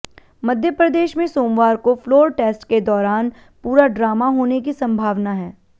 मध्य प्रदेश में सोमवार को फ्लोर टेस्ट के दौरान पूरा ड्रामा होने की संभावना है